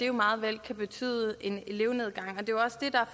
jo meget vel betyde en elevnedgang